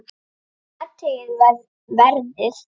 Athugið verðið.